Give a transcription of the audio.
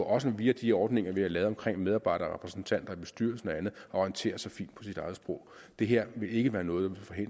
også via de ordninger vi har lavet om medarbejderrepræsentanter i bestyrelsen og andet at orientere sig fint på sit eget sprog det her vil ikke være noget